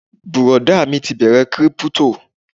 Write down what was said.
Bùrọ̀dá mi ti bẹ̀rẹ kírípítò